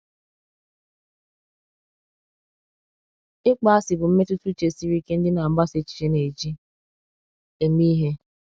Ịkpọasị bụ mmetụta uche siri ike ndị na-agbasa èchìchè na-eji eme ihe.